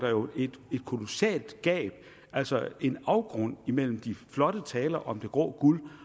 et kolossalt gab altså en afgrund mellem de flotte taler om det grå guld